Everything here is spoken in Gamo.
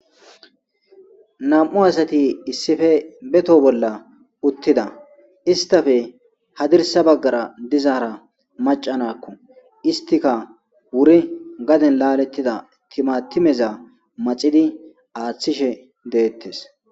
Nam'u asati issife beto bolla uttida istafe hadirsa baggara dizaara macanakko istika wuri gaden laalettida timatimeza maxidi aththishe deettes.